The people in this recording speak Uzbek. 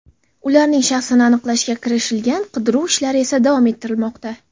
Ularning shaxsini aniqlashga kirishilgan, qidiruv ishlari esa davom ettirilmoqda.